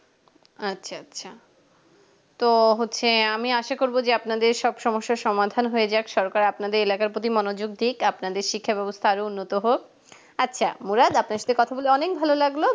আচ্ছা আচ্ছা তো হচ্ছে আমি আশা করব যে আপনাদের সব সমস্যার সমাধান হয়ে যাক সরকার আপনাদের এলাকার প্রতি মনোযোগ দিক আপনাদের শিক্ষা ব্যবস্থা আরো উন্নত হোক আচ্ছা মুরাদ আপনার সাথে কথা বলে অনেক ভালো লাগলো